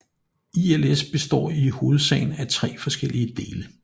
ILS består i hovedsagen af tre forskellige dele